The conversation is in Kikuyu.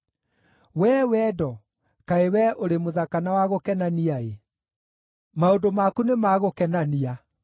Wee wendo, kaĩ wee ũrĩ mũthaka na wa gũkenania-ĩ! Maũndũ maku nĩmagũkenania!